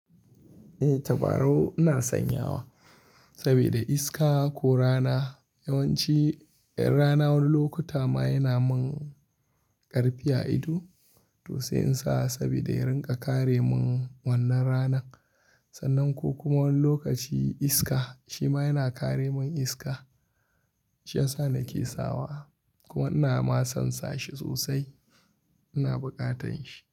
Eh, tabarau ina sanyawa sabida iska ko rana. Yawanci ranawon lokuta ma yana mun ƙarfi a ido, to sai in sa saboda ya rinƙa kare mun wannan ranan. Sannan ko kuma wani lokaci iska shi ma yana kare mun iska. Shi ya sa nake sawa kuma ina ma sonsa shi sosai, ina bukatan shi.